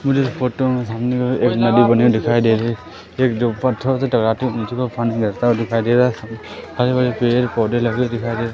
मुझे इस फोटो में सामने नदी बनी हुई दिखाई दे रही है एक जो पत्थरों से टकराकर नीचे के और पानी बेहता हुआ दिखाई दे रहा है आजू बाजू पेड़ पौधे लगे दिखाई दे रहे--